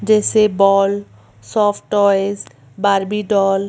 जैसे ball soft toys Barbie doll --